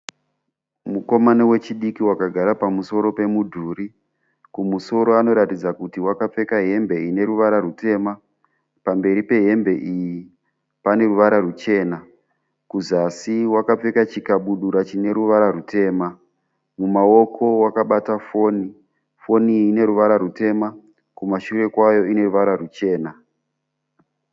Mukomana wechidiki wakagara pamusoro pemudhuri. Kumusoro anoratidza kuti wakapfeka hembe ineruvara rwutema. Pamberi pehembe iyi paneruvara rwuchena, kuzasi wakapfeka chikabudura chineruvara rwutema. Mumaoko wakabata foni, foni iyi ineruvara rwutema, kumashure kwayo ineruvara rwuchena.